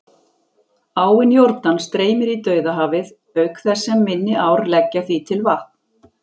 Áin Jórdan streymir í Dauðahafið, auk þess sem minni ár leggja því til vatn.